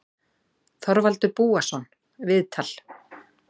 Þorvaldur Búason, viðtal